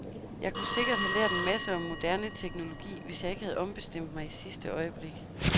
Jeg kunne sikkert have lært en masse om moderne teknologi, hvis jeg ikke havde ombestemt mig i sidste øjeblik.